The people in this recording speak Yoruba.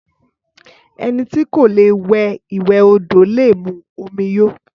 Ẹni tí kò lè wẹ ìwè odò lè mú omí yó